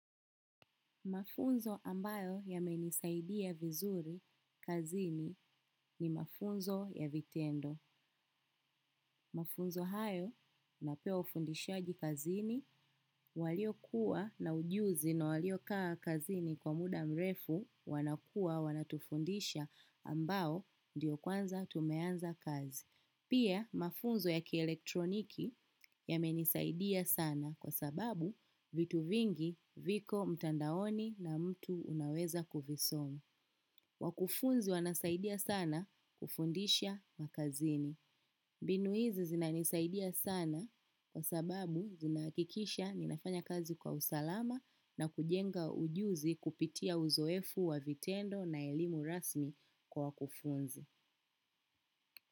Mafunzo ambayo yamenisaidia vizuri kazini ni mafunzo ya vitendo. Mafunzo hayo napewa ufundishaji kazini walio kuwa na ujuzi na walio kaa kazini kwa muda mrefu wanakuwa wanatufundisha ambayo ndiyo kwanza tumeanza kazi. Pia mafunzo ya kielektroniki yamenisaidia sana kwa sababu vitu vingi viko mtandaoni na mtu unaweza kuvisoma. Wakufunzi wanasaidia sana kufundisha kazini. Mbinu hizi zinanisaidia sana kwa sababu zinahakikisha ninafanya kazi kwa usalama na kujenga ujuzi kupitia uzoefu wa vitendo na elimu rasmi kwa kufunza.